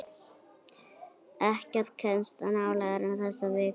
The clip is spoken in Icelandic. Ekkert kemst nálægt þessari viku.